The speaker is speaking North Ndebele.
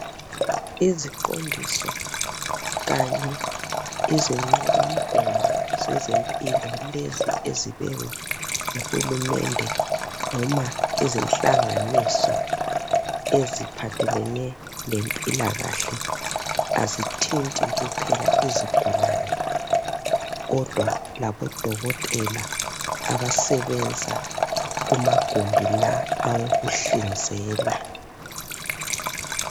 Iziqondiso kanye izinqobamgomo lezi zezempilo ezibekwa nguhulumende noma ezenhlanganiso eziphathelane lempilakahle azithinti kuphela izigulane kodwa labodokotela abasebenza kumagumbi la awokuhlinzela.